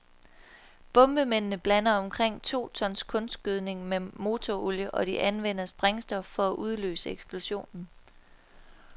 Bombemændene blander omkring to ton kunstgødning med motorolie, og de anvender sprængstof for at udløse eksplosionen.